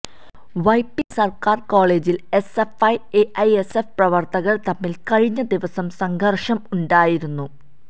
വൈപ്പിന് സര്ക്കാര് കോളേജില് SFI AISF പ്രവര്ത്തകര് തമ്മില് കഴിഞ്ഞ ദിവസം സംഘര്ഷം ഉണ്ടായിരുന്നു